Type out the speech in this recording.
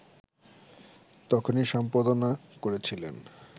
তখনি সম্পাদনা করেছিলেন